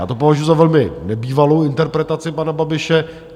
Já to považuju za velmi nebývalou interpretaci pana Babiše.